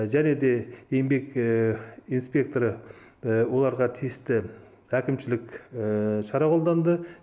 және де еңбек инспекторы оларға тиісті әкімшілік шара қолданды